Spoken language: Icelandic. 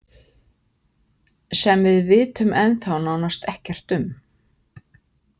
Sem við vitum ennþá nánast ekkert um.